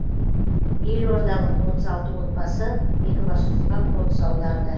елордалық отыз алты отбасы екібастұзға қоныс аударды